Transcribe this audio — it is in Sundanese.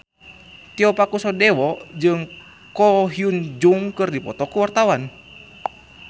Tio Pakusadewo jeung Ko Hyun Jung keur dipoto ku wartawan